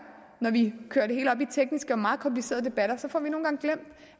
når vi kører det hele op i tekniske og meget komplicerede debatter